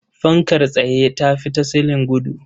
Fankar tsaye ta fi ta silin gudu.